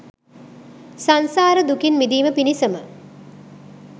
සංසාර දුකින් මිදීම පිණිසම